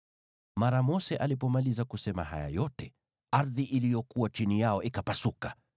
Mara Mose alipomaliza kusema haya yote, ardhi iliyokuwa chini yao ikapasuka,